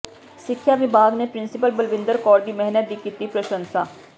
ਸਿੱਖਿਆ ਵਿਭਾਗ ਨੇ ਪ੍ਰਿੰਸੀਪਲ ਬਲਵਿੰਦਰ ਕੌਰ ਦੀ ਮਿਹਨਤ ਦੀ ਕੀਤੀ ਪ੍ਰਸ਼ੰਸਾ